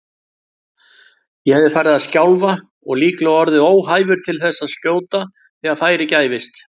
Ég hefði farið að skjálfa og líklega orðið óhæfur til að skjóta þegar færi gæfist.